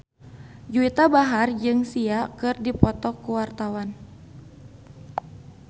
Juwita Bahar jeung Sia keur dipoto ku wartawan